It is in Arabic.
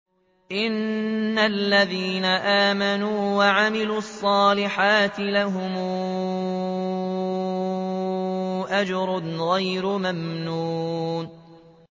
إِنَّ الَّذِينَ آمَنُوا وَعَمِلُوا الصَّالِحَاتِ لَهُمْ أَجْرٌ غَيْرُ مَمْنُونٍ